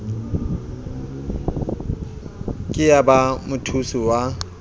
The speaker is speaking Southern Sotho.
ke ya ba mothusi wa